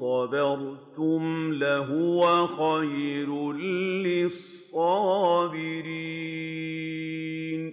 صَبَرْتُمْ لَهُوَ خَيْرٌ لِّلصَّابِرِينَ